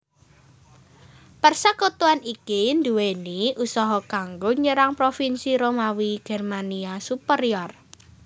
Persekutuan iki nduweni usaha kanggo nyerang provinsi Romawi Germania Superior